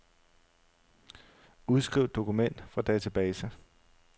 Udskriv dokument fra database.